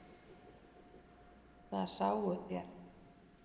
Það sáuð þér.